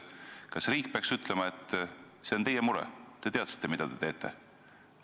Kas riik peaks ütlema, et see on teie enda mure, te ju teadsite, mida te teete?